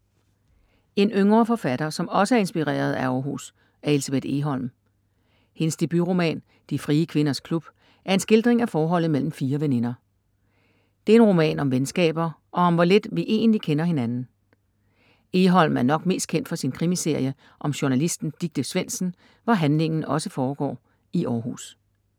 En yngre forfatter, som også er inspireret af Århus er Elsebeth Egholm. Hendes debutroman De frie kvinders klub er en skildring af forholdet mellem fire veninder. Det er en roman om venskaber og om hvor lidt vi egentlig kender hinanden. Egholm er nok mest kendt for sin krimiserie om journalisten Dicte Svendsen, hvor handlingen også foregår i Århus.